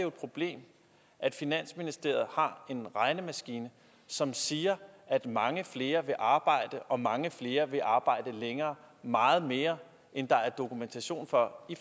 et problem at finansministeriet har en regnemaskine som siger at mange flere vil arbejde og mange flere vil arbejde længere meget mere end der er dokumentation for